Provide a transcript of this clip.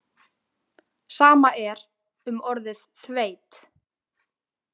Sama er um orðið þveit.